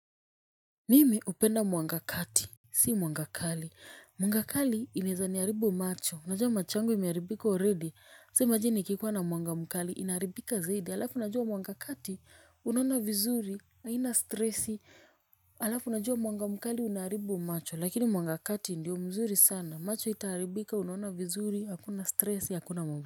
Mimi upenda mwangakati. Si mwangakali, mwangakali inaezaniharibu macho, unajua macho yangu imeharibika already, sa imagine ikikuwa na mwangamkali inaharibika zaidi, alafu unajua mwangakati, unaona vizuri, haina stressi, alafu unajua mwangamkali unaharibu macho lakini mwangakati ndiyo mzuri sana, macho haitaharibika, unaona vizuri, hakuna stressi, hakuna.